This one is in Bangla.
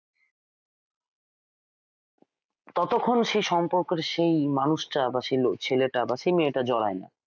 ততক্ষণ সেই সম্পর্কটা সেই মানুষটা বা সেই ছেলেটা বা সেই মেয়েটা জড়ায় না।